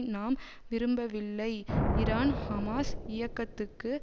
நாம் விரும்பவில்லை Iran Hamas இயக்கத்துக்கு